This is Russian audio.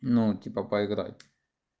ну типа поиграть